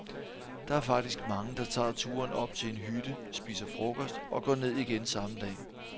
Der er faktisk mange, der tager turen op til en hytte, spiser frokost og går ned igen samme dag.